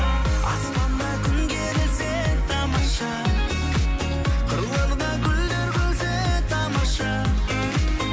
аспанда күн керілсе тамаша қырларда гүлдер күлсе тамаша